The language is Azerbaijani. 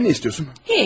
Sən nə istəyirsən?